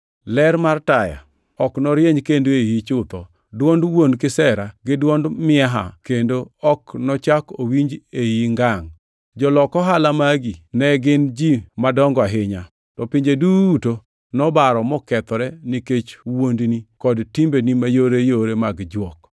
Ler mar taya ok norieny kendo e iyi chutho. Dwond wuon kisera gi dwond miaha bende ok nochak owinj e iyi ngangʼ. Jolok ohala magi ne gin ji madongo e piny. To pinje duto nobaro mokethore nikech wuondni kod timbeni mayore mag jwok.